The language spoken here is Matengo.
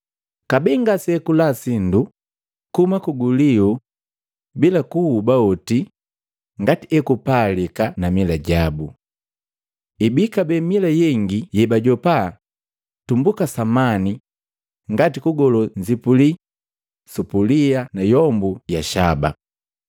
Kabee ngasiakula sindu kuhuma kuguliu bila kuhuba oti ngati ekupalika na mila jabu. Ibii kabee mila yengi yebajopaa tumbuka samani ngati kugolo nzipuli, supulia na yombu ya shaba.